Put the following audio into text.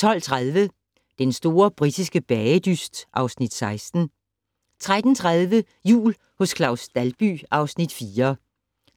12:30: Den store britiske bagedyst (Afs. 16) 13:30: Jul hos Claus Dalby (Afs. 4)